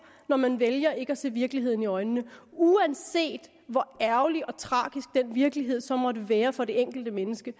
når man vælger ikke at se virkeligheden i øjnene uanset hvor ærgerlig og tragisk den virkelighed så måtte være for det enkelte menneske